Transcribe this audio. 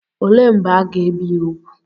Olee mgbe aga-ebi ya úgwù?